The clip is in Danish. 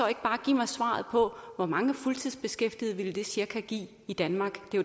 ikke bare give mig svaret på hvor mange fuldtidsbeskæftigede det cirka ville give i danmark